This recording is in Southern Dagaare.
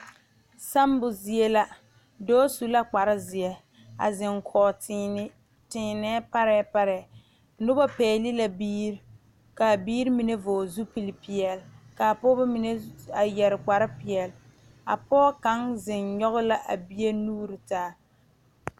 Sammo zie la dɔɔ su la kpar zeɛ a zeŋ kɔge teene teenɛɛ parɛɛ parɛɛ noba pɛgele la biiri ka a biiri mine vɔgele zupili peɛle kaa pɔgeba mine a yɛrɛ kpar peɛle a pɔge kaŋ zeŋ nyɔge la a bie nuure taa